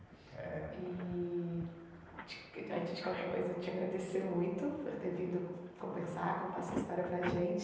eh... e, te antes de qualquer coisa, eu te agradecer muito por ter vindo conversar, contar sua história para a gente.